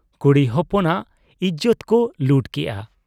ᱠᱩᱲᱤ ᱦᱚᱯᱚᱱᱟᱜ ᱤᱡᱚᱛ ᱠᱚ ᱞᱩᱴ ᱠᱮᱜ ᱟ ᱾